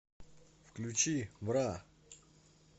включи бра